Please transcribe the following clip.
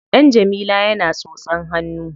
Ɗan Jamila yana tsotsan hannu.